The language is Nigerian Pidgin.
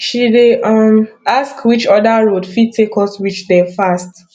she dey um ask which other road fit take us reach there fast